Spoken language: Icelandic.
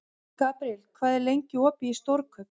Gabriel, hvað er lengi opið í Stórkaup?